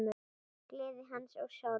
Gleði hans og sorg.